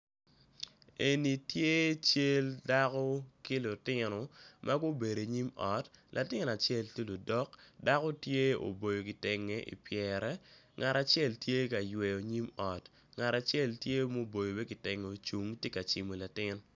Eni tye cal dako ki lutino magubedo inyim ot latin acel tye lodok dako tye oboyo kitenge ipyere ngat acel tye yweyo nyim ot ngat acel tye ma oboyo wiye kitenge ocung tye ka cimo latin.